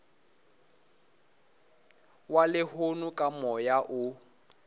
wa lehono ka moya o